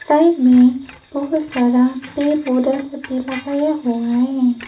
Side में बहुत सारा पेड़ पौधे सब भी लगाया हुआ है।